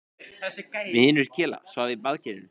Vinur Kela svaf í baðkerinu.